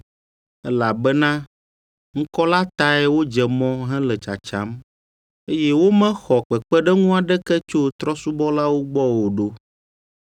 elabena ŋkɔ la tae wodze mɔ hele tsatsam, eye womexɔ kpekpeɖeŋu aɖeke tso trɔ̃subɔlawo gbɔ o ɖo.